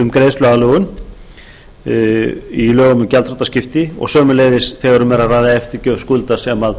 um greiðsluaðlögun í lögum um gjaldþrotaskipti og sömuleiðis þegar um er að ræða eftirgjöf skulda sem